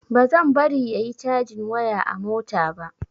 Bazan bari yayi cajin waya a mota ba.